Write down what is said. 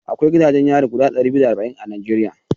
Akwai gidajen yari guda ɗari biyu da arba'in a Najeriya